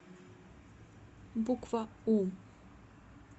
буква у